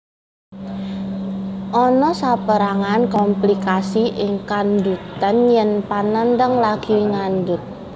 Ana sapérangan komplikasi ing kandhutan yèn panandhang lagi ngandhut